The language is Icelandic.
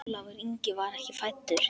Ólafur Ingi var ekki fæddur.